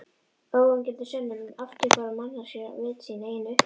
Óyggjandi sönnun um afturhvarf manneskjunnar á vit síns eigin upphafs.